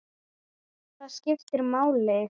Hvað skiptir máli?